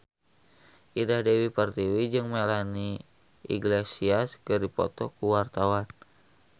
Indah Dewi Pertiwi jeung Melanie Iglesias keur dipoto ku wartawan